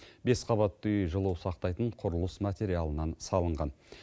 бес қабатты үй жылу сақтайтын құрылыс материалынан салынған